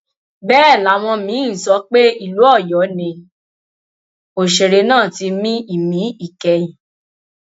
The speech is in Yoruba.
bẹẹ làwọn míín ń sọ pé ìlú ọyọ ni òṣèré ná ti mí ìmí ìkẹyìn